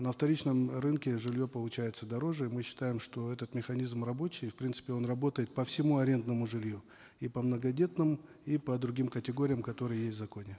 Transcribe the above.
на вторичной рынке жилье получается дороже мы считаем что этот механизм рабочий и в принципе он работает по всему арендному жилью и по многодетным и по другим категориям которые есть в законе